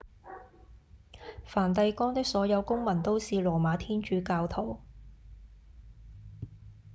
梵蒂岡的所有公民都是羅馬天主教徒